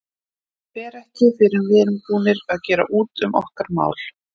Hann fer ekki fyrr en við erum búnir að gera út um okkar mál.